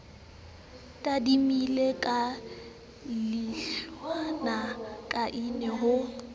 tadimile ka leihlola kaine ho